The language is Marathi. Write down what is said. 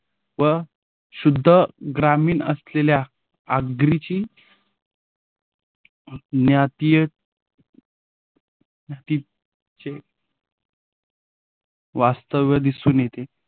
व शुद्ध ग्रामीण असलेल्या आगरीची न्यातीय वास्तव्य दिसून येते.